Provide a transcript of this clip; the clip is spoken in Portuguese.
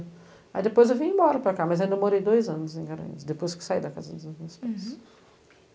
Aí depois eu vim embora para cá, mas ainda morei dois anos em Garanhus, depois que saí da casa dos meus pais. Uhum